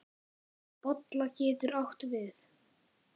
Bolla getur átt við